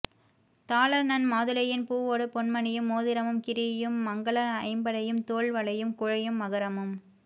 தாள நன் மாதுளையின் பூவோடு பொன் மணியும் மோதிரமும் கிறியும் மங்கள ஐம்படையும் தோள் வளையும் குழையும் மகரமும்